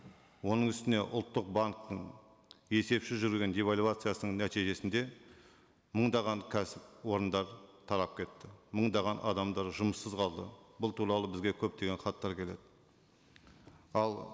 оның үстіне ұлттық банктің есепсіз жүрген девальвациясының нәтижесінде мыңдаған кәсіпорындар тарап кетті мыңдаған адамдар жұмыссыз қалды бұл туралы бізге көптеген хаттар келеді ал